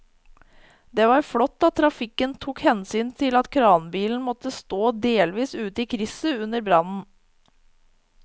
Det var flott at trafikken tok hensyn til at kranbilen måtte stå delvis ute i krysset under brannen.